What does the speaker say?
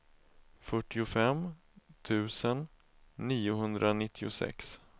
fyrtiofem tusen niohundranittiosex